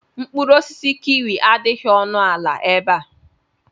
Mkpụrụ osisi kiwi adịghị ọnụ ala ebe a.